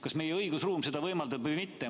Kas meie õigusruum seda võimaldab või mitte?